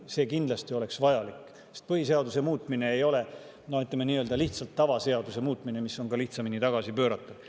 See oleks kindlasti vajalik, sest põhiseaduse muutmine ei ole, ütleme, lihtsalt tavaseaduse muutmine, mis on lihtsamini tagasi pööratav.